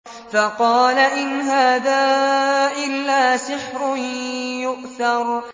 فَقَالَ إِنْ هَٰذَا إِلَّا سِحْرٌ يُؤْثَرُ